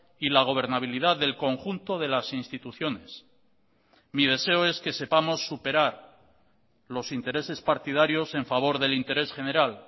y la gobernabilidad del conjunto de las instituciones mi deseo es que sepamos superar los intereses partidarios en favor del interés general